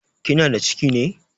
Kinada ciki ne?